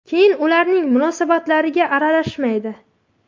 Keyin ularning munosabatlariga aralashmaydi.